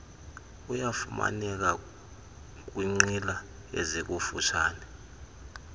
uyafumaneka kwinqila ezikututshane